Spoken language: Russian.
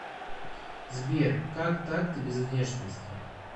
сбер как так ты без внешности